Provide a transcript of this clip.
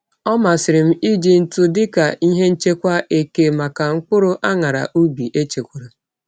Ọ masịrị m iji ntụ dị ka ihe nchekwa eke maka mkpụrụ añara ubi echekwara.